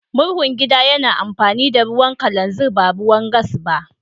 Murhun gida ya na amfani da ruwan kalanzir ba ruwan gas ba.